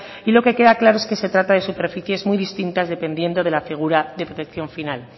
y lo que queda claro es que se trata de superficies muy distintas dependiendo de la figura de protección final